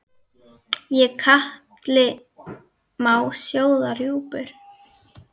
Í katli má sjóða rjúpur?